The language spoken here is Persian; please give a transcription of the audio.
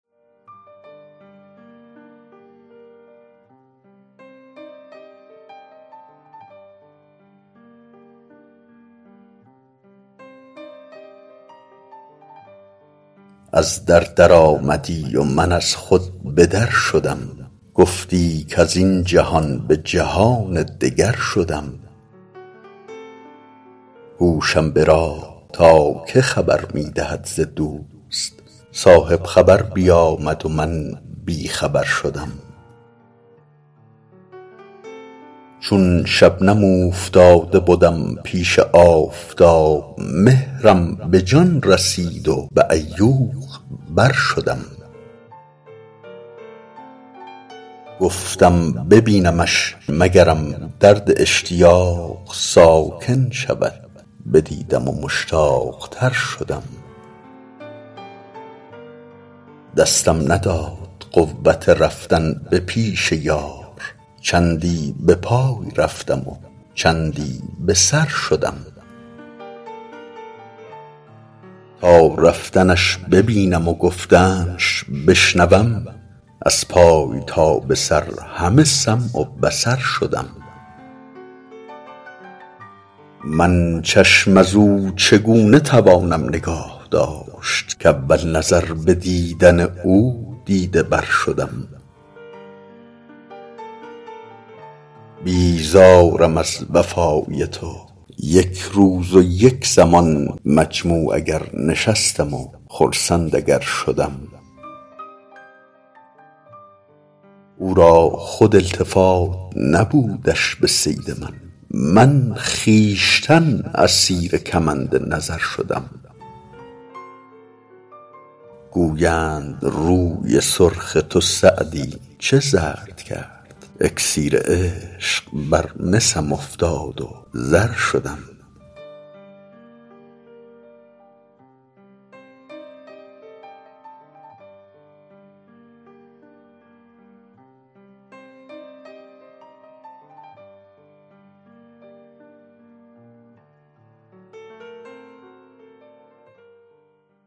از در درآمدی و من از خود به در شدم گفتی کز این جهان به جهان دگر شدم گوشم به راه تا که خبر می دهد ز دوست صاحب خبر بیامد و من بی خبر شدم چون شبنم اوفتاده بدم پیش آفتاب مهرم به جان رسید و به عیوق بر شدم گفتم ببینمش مگرم درد اشتیاق ساکن شود بدیدم و مشتاق تر شدم دستم نداد قوت رفتن به پیش یار چندی به پای رفتم و چندی به سر شدم تا رفتنش ببینم و گفتنش بشنوم از پای تا به سر همه سمع و بصر شدم من چشم از او چگونه توانم نگاه داشت کاول نظر به دیدن او دیده ور شدم بیزارم از وفای تو یک روز و یک زمان مجموع اگر نشستم و خرسند اگر شدم او را خود التفات نبودش به صید من من خویشتن اسیر کمند نظر شدم گویند روی سرخ تو سعدی چه زرد کرد اکسیر عشق بر مسم افتاد و زر شدم